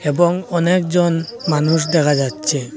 এবং অনেকজন মানুষ দেখা যাচ্ছে।